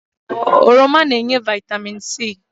Oroma na-enye vitamin C